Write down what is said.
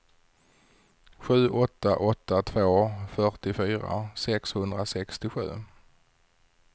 sju åtta åtta två fyrtiofyra sexhundrasextiosju